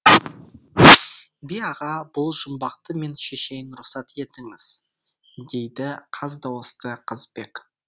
би аға бұл жұмбақты мен шешейін рұқсат етіңіз дейді қаз дауысты қазыбек